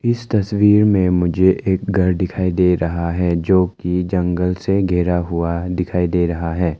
इस तस्वीर में मुझे एक घर दिखाई दे रहा है जो की जंगल से गिरा हुआ दिखाई दे रहा है।